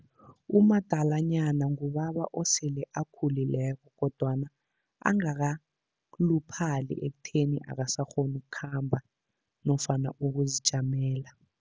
Umadalanyana ngubaba osele akhululiko kodwana angakaluphali imali ekutheni akasakghoni ukukhamba nofana ukuzijamela.